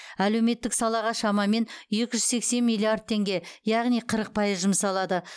әлеуметтік салаға шамамен екі жүз сексен миллиард теңге яғни қырық пайыз жұмсалады